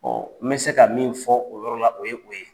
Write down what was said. n bɛ se ka min fɔ o yɔrɔ la o ye o ye.